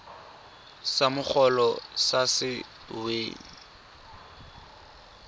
sa mogolo sa se weng